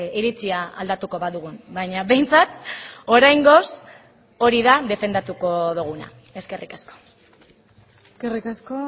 iritzia aldatuko badugun baina behintzat oraingoz hori da defendatuko duguna eskerrik asko eskerrik asko